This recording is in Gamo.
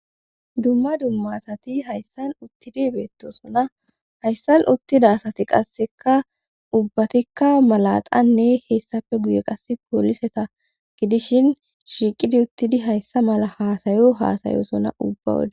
Dumma dumma asati hayssan uttidi beettosona hayssan uttida asati qasseka ubbatikka malaxanne heessafe guye qasse koliseta gidishin shiiqidi uttidi hayssa mala haasayo haasayosona ubba wodae